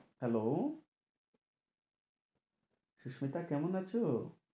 Hello Susmita কেমন আছো?